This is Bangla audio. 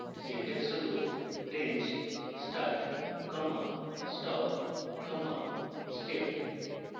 syntax হল range start comma stop comma step